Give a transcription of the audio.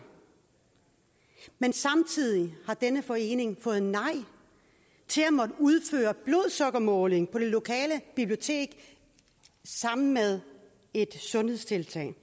men samtidig har denne forening fået nej til at måtte udføre blodsukkermåling på det lokale bibliotek sammen med et sundhedstiltag